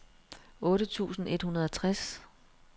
otte tusind et hundrede og tres